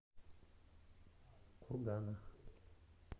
кургана